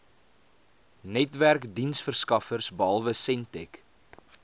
netwerkdiensverskaffers behalwe sentech